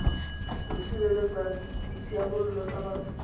bo sireletsang ditshiamelo tsa batho